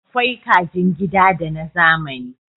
Akwai kajin gida da na zamani